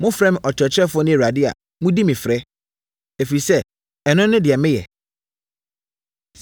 Mofrɛ me ‘Ɔkyerɛkyerɛfoɔ’ ne ‘Awurade’ a, modi me frɛ; ɛfiri sɛ, ɛno ne deɛ meyɛ.